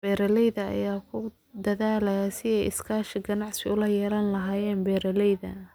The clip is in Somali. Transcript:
Beeralayda ayaa ku dadaalaya sidii ay iskaashi ganacsi ula yeelan lahaayeen beeralayda.